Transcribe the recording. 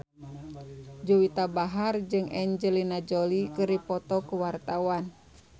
Juwita Bahar jeung Angelina Jolie keur dipoto ku wartawan